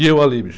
E eu ali, bicho.